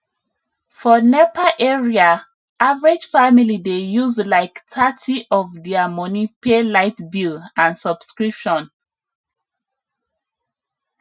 for nepa area average family dey use like thirty of dia money pay light bill and subscription